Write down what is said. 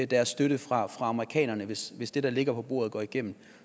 deres støtte fra amerikanerne hvis hvis det der ligger på bordet går igennem